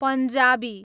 Punjabi